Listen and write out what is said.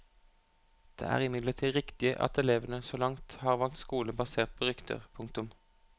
Det er imidlertid riktig at elevene så langt har valgt skole basert på rykter. punktum